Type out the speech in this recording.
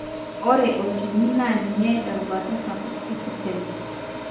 ore olchoni na ninye erubata sapuk tosesen.